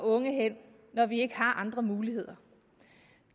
unge hen når vi ikke har andre muligheder